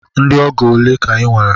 Ndị ọgọ ole ka i nwere?